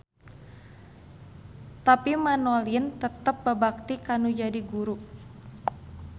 Tapi Manolin tetep babakti kanu jadi guru.